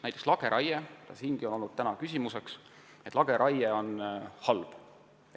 Näiteks lageraie puhul on siin täna olnud jutuks see, et lageraie on halb.